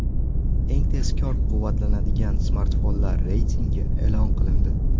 Eng tezkor quvvatlanadigan smartfonlar reytingi e’lon qilindi.